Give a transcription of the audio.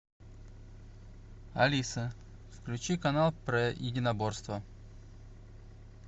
алиса включи канал про единоборства